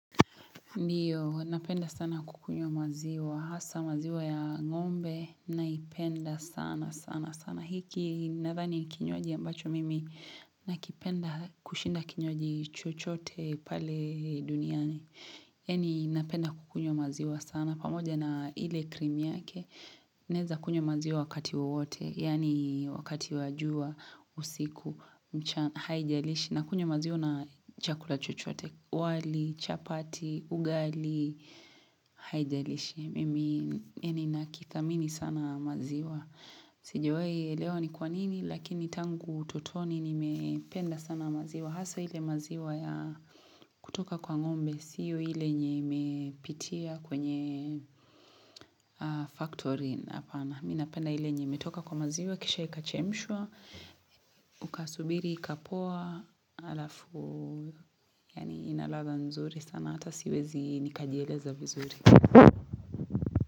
Ndiyo, napenda sana kukunywa maziwa. Hasa maziwa ya ngombe naipenda sana sana sana. Hiki nathani ni kinywaji ambacho mimi nakipenda kushinda kinywaji chochote pale duniani. Eni napenda kukunywa maziwa sana. Pamoja na ile cream yake, naeza kunywa maziwa wakati wowote, yaani wakati wa jua, usiku, mchana haijalishi, nakunywa maziwa na chakula chochote, wali, chapati, ugali, haijalishi. Mimi ninakithamini sana maziwa. Sijawahi ni kwa nini, lakini tangu utotoni nimependa sana maziwa. Hasa ile maziwa ya kutoka kwa ngombe, siyo ile nye imepitia kwenye factory hapana. Mimi napenda ile nye imetoka kwa maziwa, kisha ikachemshwa, ukasubiri, ikapoa, alafu. Yaani ina ladha nzuri sana, hata siwezi nikajieleza vizuri.